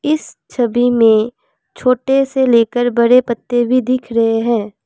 इस छवि में छोटे से लेकर बड़े पत्ते भी दिख रहे हैं।